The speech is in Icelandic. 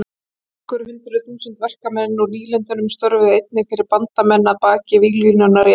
Nokkur hundruð þúsund verkamenn úr nýlendunum störfuðu einnig fyrir bandamenn að baki víglínunnar í Evrópu.